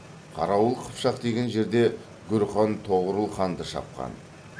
қарауыл қыпшақ деген жерде гүр хан тоғорыл ханды шапқан